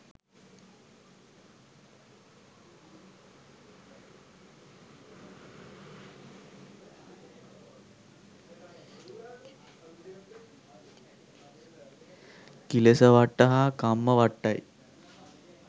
කිලෙසවට්ට හා කම්මවට්ටයි.